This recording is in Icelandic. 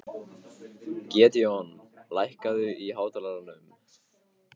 Gídeon, lækkaðu í hátalaranum.